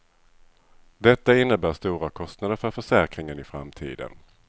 Detta innebär stora kostnader för försäkringen i framtiden.